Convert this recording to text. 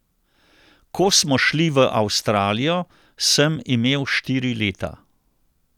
Ko smo šli v Avstralijo, sem imel štiri leta.